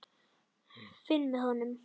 Finn með honum.